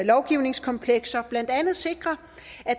lovgivningskomplekser blandt andet sikre